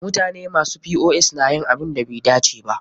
Mutane masu POS na yin abunda bai dace ba.